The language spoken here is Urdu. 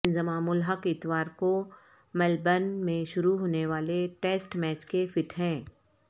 انضمام الحق اتوار کو ملبرن میں شروع ہونے والے ٹیسٹ میچ کے فٹ ہیں